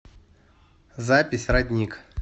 запись родник